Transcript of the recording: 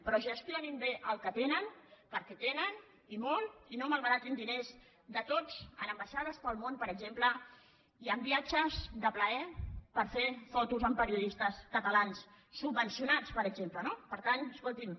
però gestionin bé el que tenen perquè tenen i molt i no malbaratin diners de tots en ambaixades pel món per exemple i en viatges de plaer per fer fotos amb periodistes catalans subvencionats per exemple no per tant escolti’m